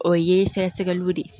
O ye sɛgɛ sɛgɛliw de ye